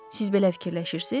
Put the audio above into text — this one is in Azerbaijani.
Siz belə fikirləşirsiz?